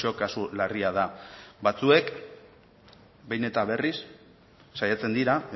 kasu larria da batzuek behin eta berriz saiatzen dira